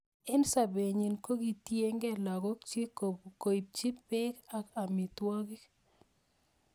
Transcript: En sobe nyin kokitienge lakok chik koibchi bek ak amitwokik.